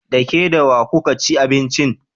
Da ke da wa kuka ci abincin?